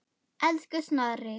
Elsku Snorri.